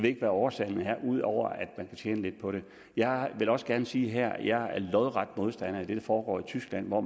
ikke hvad årsagen er ud over at man kan tjene lidt på det jeg vil også gerne sige her at jeg er lodret modstander af det der foregår i tyskland hvor